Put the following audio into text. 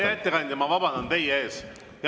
Hea ettekandja, ma vabandan teie ees!